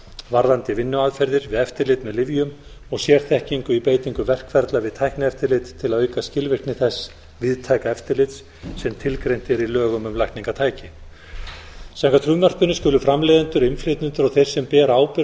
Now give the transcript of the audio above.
varðandi vinnuaðferðir við eftirlit með lyfjum og sérþekkingu í beitingu verkferla við tæknieftirlit til að auka skilvirkni þess víðtæka eftirlits sem tilgreint er í lögum um lækningatæki samkvæmt frumvarpinu skulu framleiðendur innflytjendur og þeir sem bera ábyrgð